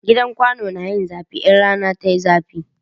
Gidan kwano na yin zafi idan rana yayi zafi